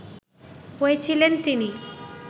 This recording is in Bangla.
হয়েছিলেন তিনি